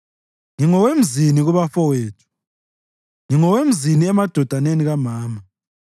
Ngingowemzini kubafowethu, ngingowemzini emadodaneni kamama;